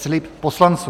Slib poslanců